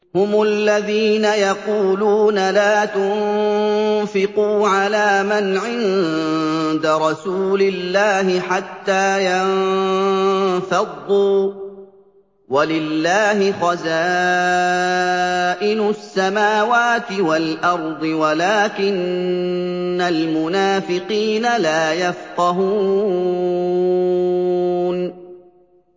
هُمُ الَّذِينَ يَقُولُونَ لَا تُنفِقُوا عَلَىٰ مَنْ عِندَ رَسُولِ اللَّهِ حَتَّىٰ يَنفَضُّوا ۗ وَلِلَّهِ خَزَائِنُ السَّمَاوَاتِ وَالْأَرْضِ وَلَٰكِنَّ الْمُنَافِقِينَ لَا يَفْقَهُونَ